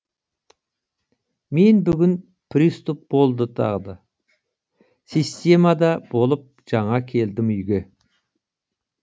мен бүгін приступ болды тағы да системада болып жаңа келдім үйге